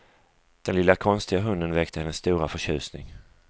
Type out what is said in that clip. Den lilla konstiga hunden väckte hennes stora förtjusning.